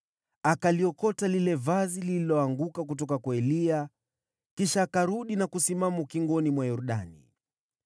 Akaliokota lile vazi lililoanguka kutoka kwa Eliya, kisha akarudi na kusimama ukingoni mwa Yordani.